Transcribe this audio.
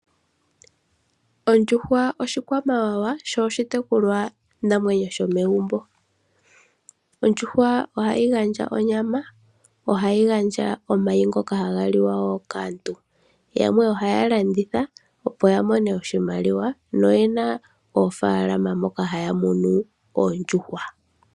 Ondjuhwa oshikwamawawa, sho oshitekulwanamwenyo sho megumbo. Ondjuhwa oha yi gandja onyama, oh yi gandja omayi ngoka haga liwa wo kaantu. Yamwe oha ya landitha, opo ya mone oshimaliwa , noye na oofaalama moka ha ya munu oondjuhwa.